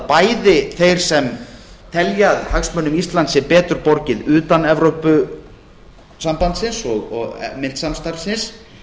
bæði þeir sem telja að hagsmunum íslands sé betur borgið utan evrópusambandsins og myntsamstarfsins